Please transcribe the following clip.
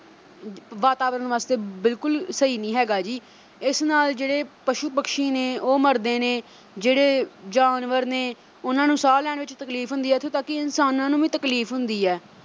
ਅਮ ਵਾਤਾਵਰਨ ਵਾਸਤੇ ਬਿਲ ਅਹ ਬਿਲਕੁਲ ਸਹੀ ਨੀ ਹੈਗਾ ਜੀ ਇਸ ਨਾਲ ਜਿਹੜੇ ਪਸ਼ੂ ਪਕਸ਼ੀ ਨੇ ਉਹ ਮਰਦੇ ਨੇ ਜਿਹੜੇ ਜਾਨਵਰ ਨੇ ਉਨ੍ਹਾਂ ਨੂੰ ਸਾਹ ਲੈਣ ਵਿੱਚ ਤਕਲੀਫ ਹੁੰਦੀ ਐ ਇੱਥੋਂ ਤੱਕ ਕਿ ਇਨਸਾਨਾਂ ਨੂੰ ਵੀ ਤਕਲੀਫ ਹੁੰਦੀ ਐ